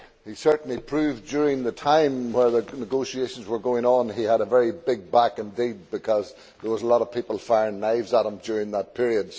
He certainly proved during the time that negotiations were going on that he had a very big back indeed, because there were a lot of people throwing knives at him during that period.